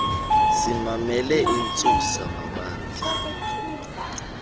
simamele intsusa mabandla